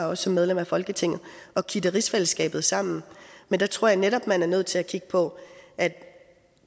også som medlem af folketinget at kitte rigsfællesskabet sammen men der tror jeg netop at man er nødt til at kigge på at